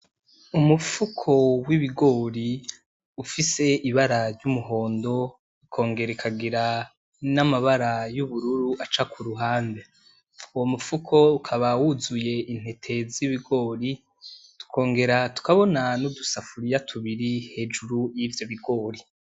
Umufuko w'ibigori ufise ibara ry'umuhondo, ukongera ikagira n'amabara y'ubururu aca kuruhande. Uwo mufuko ukaba wuzuye intete z'ibigori, tukongera tukabona n'udusafuriya tubiri hejuru yivyo bigori.